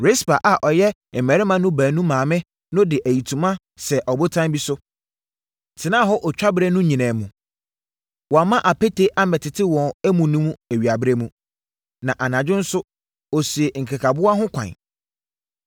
Rispa a ɔyɛ mmarima no mu baanu maame no de ayitoma sɛɛ ɔbotan bi so, tenaa hɔ otwaberɛ no nyinaa mu. Wamma apete ammɛtete wɔn amu no awiaberɛ mu, na anadwo nso, ɔsii nkekaboa ho kwan.